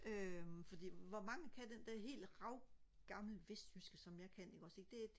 øhm fordi hvor mange kan den der helt rav gamle vestjyske som jeg kan ikke også det